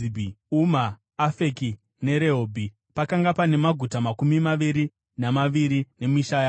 Uma, Afeki neRehobhi. Pakanga pane maguta makumi maviri namaviri nemisha yawo.